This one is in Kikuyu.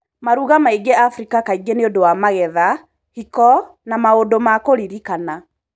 Maruga maingĩ Afrika kaingĩ nĩũdũ wa magetha, hiko, na maũndũ ma kũririkana.